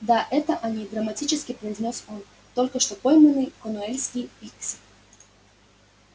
да это они драматически произнёс он только что пойманные корнуэльские пикси